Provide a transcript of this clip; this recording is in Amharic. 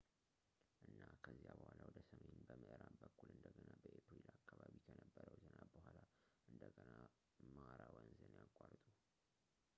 እና ከዚያ በኋላ ወደ ሰሜን በምዕራብ በኩል እንደገና በኤፕሪል አከባቢ ከነበረው ዝናብ በኋላ እንደገና ማራ ወንዝን ያቋርጡ